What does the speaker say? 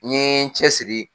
N ɲe n cɛsiri